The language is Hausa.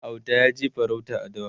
Auta yaje farauta a dawa